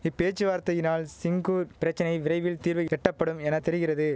இப்பேச்சுவார்த்தையினால் சிங்கூர் பிரச்சனை விரைவில் தீர்வு எட்டப்படும் என தெரிகிறது